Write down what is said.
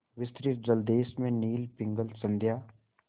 विस्तृत जलदेश में नील पिंगल संध्या